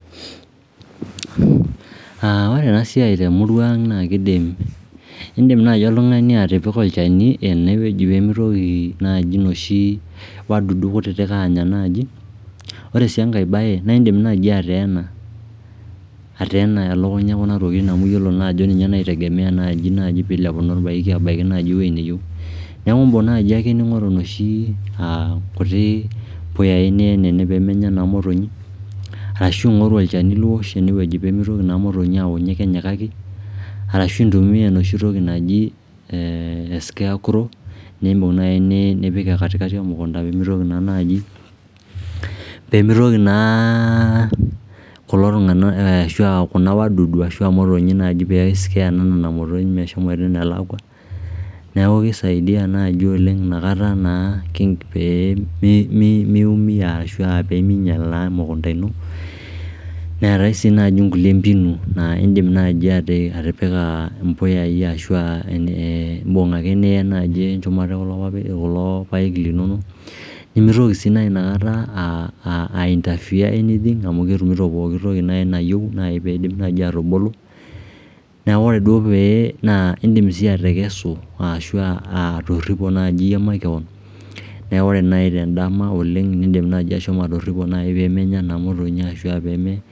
Ore ena siai temurua ang naa kiidim oltungani atipika olchani ene peemitoki naji noshi tokiting duo kutitik aanya naji Ore sii engae bae naa in'dim naji ateena elukunya e kuna tokiting amu iyiolo naa ajo ninye naitayu naaji olpaeki aabaya ewueji neyieu niaku imbung' naai ake ning'oru inoshi puyai niyen ene pee meenya naa motonyi arashu ing'oru olchani liwosh ene pee mitoki naa imptonyi aanya arashu intumia enoshitoki naji escarecrow niim'bung nipik empolos emukunda piimitoki naa naaji kuna kuruk ashu kuna motonyi pee i scare naa nena motonyi meshomoita enelakwa niaku kisaidia naaji oleng' inakata naa pee miumia ashu pee miinyal naa ena mukunda ino neetai sii naaji nkulie mbinu naa in'dim naaji atipiki imbuyai ashu in'dim ake nai niyen enchumata e kulo paek linono nimitoki sii nai inakata ainterfear anything amu ketumito pookitoki nayieu nai piidim naaji atubulu niaku ore duo pee naa in'dim sii atekesu ashu atorhipo naaji makewon naa ore naaji endama oleng peemenya naa imotonyi ashu aah peeme